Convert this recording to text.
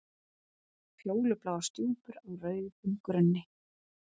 Fjólubláar stjúpur á rauðum grunni.